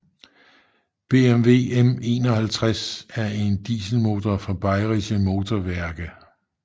BMW M51 er en dieselmotor fra BMW